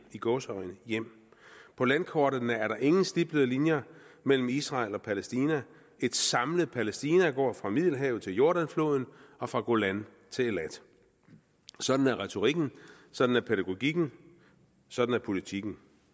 i gåseøjne hjem på landkortene er der ingen stiplede linjer mellem israel og palæstina et samlet palæstina går fra middelhavet til jordanfloden og fra golan til eilat sådan er retorikken sådan er pædagogikken sådan er politikken